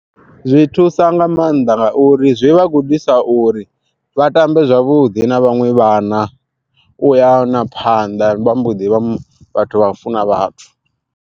Zwi thusa nga maanḓa nga uri zwi vhagudisa uri vha tambe zwavhuḓi na vhaṅwe vhana, u ya na phanḓa vha mboḓi vha vhathu vha u funa vhathu.